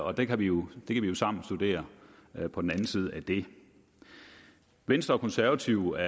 og det kan vi jo sammen studere på den anden side af det venstre og konservative